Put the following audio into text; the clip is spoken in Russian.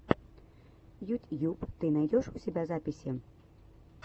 ютьюб ты найдешь у себя записи